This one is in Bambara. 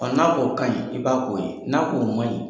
n'a k'o kaɲi, i b'a k'o ye. N'a k'o maɲi